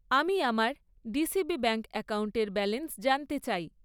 আমি আমার DCB bank অ্যাকাউন্টের ব্যালেন্স জানতে চাই।